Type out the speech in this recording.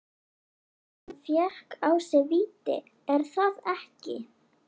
Hann fékk á sig víti, er það ekki?